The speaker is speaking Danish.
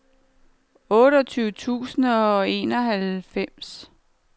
otteogtyve tusind og enoghalvfems